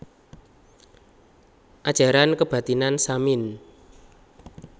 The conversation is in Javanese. Ajaran Kebathinan Samin